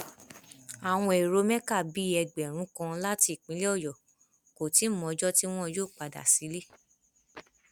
àwọn èrò mẹka bíi ẹgbẹrún kan láti ìpínlẹ ọyọ kò tí ì mọ ọjọ tí wọn yóò padà sílé